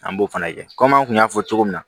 An b'o fana kɛ kɔmi an kun y'a fɔ cogo min na